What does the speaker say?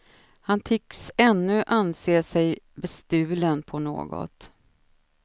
Han tycks ännu anse sig bestulen på något.